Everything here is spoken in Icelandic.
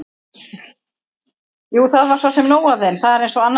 Jú, það var svo sem nóg af þeim þar eins og annars staðar.